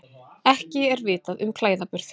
Ekki er vitað um klæðaburð